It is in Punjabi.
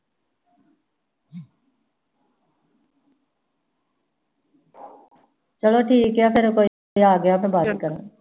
ਚਲੋ ਠੀਕ ਏ ਫਿਰ ਕੋਈ ਆ ਗਿਆ ਮੈਂ ਬਾਅਦ ਚ ਗੱਲ ਕਰਦੀ ਆ l